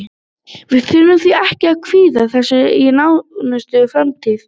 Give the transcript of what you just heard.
Við þurfum því ekki að kvíða þessu í nánustu framtíð.